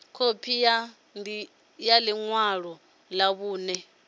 khophi ya ḽi ṅwalo ḽa vhuṋe